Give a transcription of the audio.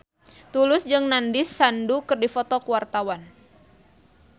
Tulus jeung Nandish Sandhu keur dipoto ku wartawan